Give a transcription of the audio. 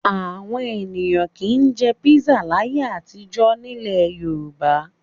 Àwọn ènìyàn kì í jẹ písà láyé àtijọ́ nílẹ̀ Yorùbá.